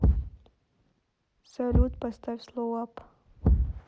салют поставь слоу ап